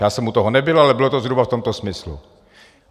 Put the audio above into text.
Já jsem u toho nebyl, ale bylo to zhruba v tomto smyslu.